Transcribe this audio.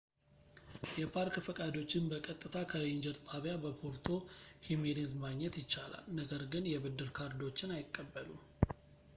የፓርክ ፈቃዶችን በቀጥታ ከሬንጀር ጣቢያ በፖርቶ ሂሜኔዝ ማግኘት ይቻላል ነገር ግን የብድር ካርዶችን አይቀበሉም